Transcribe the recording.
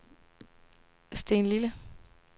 Stenlille